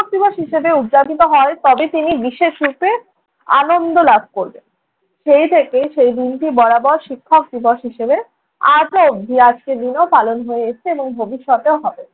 দিবস হিসেবে উদযাপিত হয়, তবে তিনি বিশেষ রূপে আনন্দ লাভ করবেন। সেই থেকে সেই দিনটি বরাবর শিক্ষক দিবস হিসেবে আজও অব্ধি, আজকের দিনেও পালন হয়ে এসছে এবং ভবিষ্যতেও হবে।